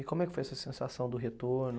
E como é que foi essa sensação do retorno?